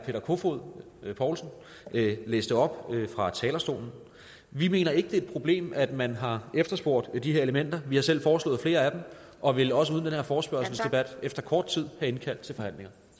kofod poulsen læste op fra talerstolen vi mener ikke det er et problem at man har efterspurgt de her elementer vi har selv foreslået flere af dem og ville også uden den her forespørgselsdebat efter kort tid have indkaldt til forhandlinger